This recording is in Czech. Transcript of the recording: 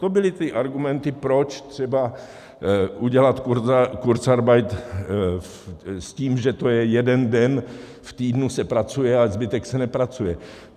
To byly ty argumenty, proč třeba udělat kurzarbeit s tím, že to je jeden den v týdnu, se pracuje, a zbytek se nepracuje.